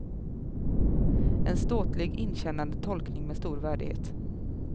En ståtlig, inkännande tolkning med stor värdighet.